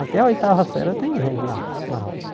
Até a oitava série tem gente na na roça.